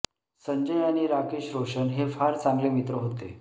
संजय आणि राकेश रोशन हे फार चांगले मित्र होते